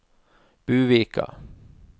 Buvika